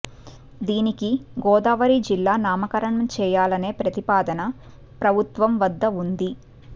దీనికి గోదావరి జిల్లా నామకరణం చేయాలనే ప్రతిపాదన ప్రభుత్వం వద్ద వుంది